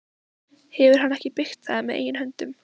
Hefur hann ekki byggt það með eigin höndum?